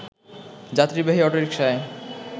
যাত্রীবাহী অটোরিকশায়